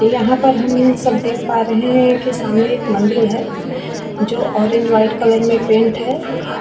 यहाँ पर हम सब देख पा रहे है कि सामने एक मंदिर जो ऑरेंज व्हाइट कलर में पेंट है ।